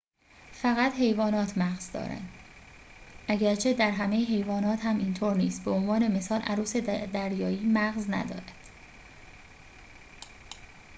فقط حیوانات مغز دارند اگرچه در همه حیوانات هم اینطور نیست؛ به عنوان مثال عروس دریایی مغز ندارد